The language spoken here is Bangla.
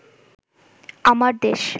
আমার দেশ